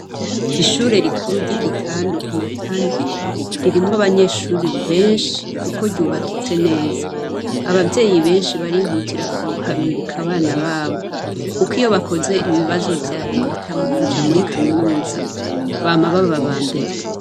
Ishure rikuru ryigitandu i Matana ririmwo abanyeshure benshi kuko ryubakitse neza ababyeyi benshi barihutira kuharungika abana babo kuko iyo bakoze ibibazo vya reta mukuja muri kaminuza bama baba abambere.